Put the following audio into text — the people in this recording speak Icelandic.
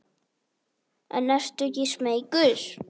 En ertu ekki smeykur?